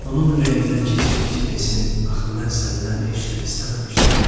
Onun ürəyindən keçirdi ki, desin, axı mən səndən heç nə istəməmişdim.